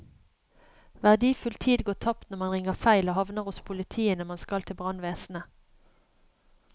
Verdifull tid går tapt når man ringer feil og havner hos politiet når man skal til brannvesenet.